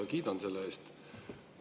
Kiidan selle eest.